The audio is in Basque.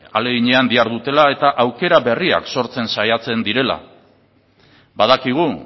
ahaleginean dihardutela eta aukera berriak sortzen saiatzen direla badakigu